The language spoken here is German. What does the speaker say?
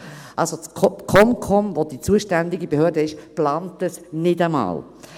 Die Eidgenössische Kommunikationskommission (ComCom), welche die zuständige Behörde ist, plant dies nicht einmal.